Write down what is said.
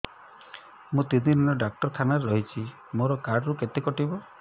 ମୁଁ ତିନି ଦିନ ଡାକ୍ତର ଖାନାରେ ରହିଛି ମୋର କାର୍ଡ ରୁ କେତେ କଟିବ